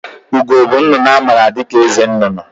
Ugo bụ nnụnụ a maara dịka eze nnụnụ